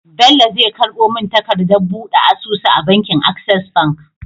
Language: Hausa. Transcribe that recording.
Bello zai karbo mun takadar buɗe asusu a bankin access bank